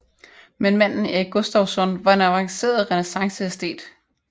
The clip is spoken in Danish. Men manden Erik Gustavsson var en avanceret renæssanceæstet